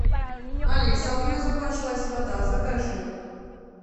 алиса у меня закончилась вода закажи